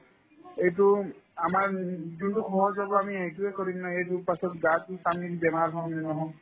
এইটো আমাৰ যোনতো সহজ হ'ব আমি সেইটোয়ে কৰিম না সেইটোৰ পাছত গা ধুই আমি বেমাৰ হও নে নহও